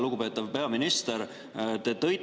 Lugupeetav peaminister!